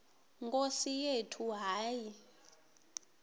nkosi yethu hayi